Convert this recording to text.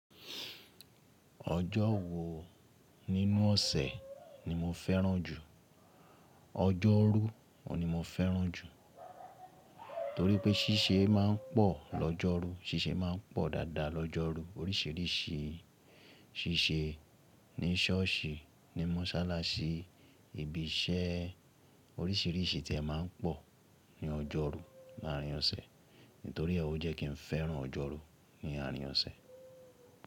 Ọjọ́ wo nínú ọ̀sẹ̀ ni mo fẹ́ràn jù? Ọjọ́rú ni mo fẹ́ràn jù torí pé ṣíṣe máa ń pọ̀ lọ́jọ́rú, ṣíṣe máa ń pọ̀ dáadáa lọ́jọ́rú oríṣìíríṣìí ṣíṣe ní ṣọ́ọ̀ṣì, ní mọ́sálásí, ibi iṣẹ́ oríṣìíríṣìí tí ẹ máa ń pọ̀ ní ọjọ́rú láàárín ọ̀sẹ̀ nítorí è wọ́ jẹ́ kí n fẹ́ràn ọjọ́rú ní àárín ọ̀sẹ̀.